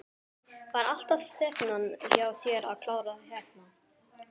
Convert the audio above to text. Var alltaf stefnan hjá þér að klára hérna?